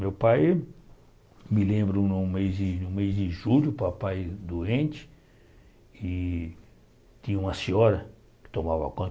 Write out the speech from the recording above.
Meu pai, me lembro no mês de no mês de julho, papai doente, e tinha uma senhora que tomava conta.